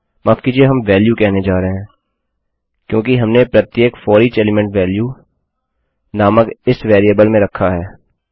माफ़ कीजिये हम वेल्यू कहने जा रहे हैं क्योंकि हमने प्रत्येक फोरिच एलीमेंट वेल्यू नामक इस वेरिएबल में रखा है